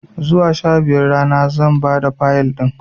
Zuwa sha biyun rana zan bada Fayil ɗin